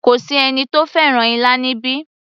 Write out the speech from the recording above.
Kò sí ẹni tó fẹ́ràn ilá níbí